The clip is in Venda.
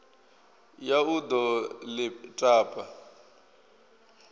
ya u ḓo ḽi tapa